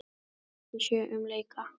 Engin merki séu um leka